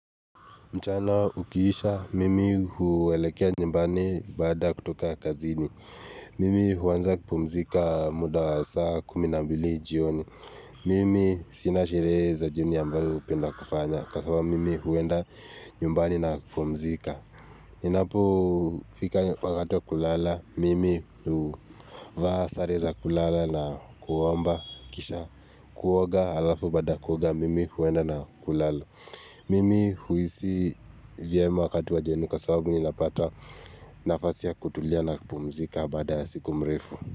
Mchana ukiisha, mimi huelekea nyumbani baada ya kutoka kazini. Mimi huanza kupumzika muda wa saa kumi na mbili jioni. Mimi sina sherehe za jioni ambayo hupenda kufanya. Kwa sababu mimi huenda nyumbani na kupumzika. Inapofika wakati wa kulala, mimi huvaa sare za kulala na kuomba kisha. Kuoga alafu baada ya kuoga, mimi huenda na kulala. Mimi huisi vyema wakati wa jioni kwa sababu ninapata nafasi ya kutulia na kupumzika baada ya siku mrefu.